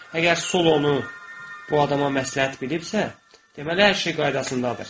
Əgər Sol onu bu adama məsləhət bilibsə, deməli hər şey qaydasındadır.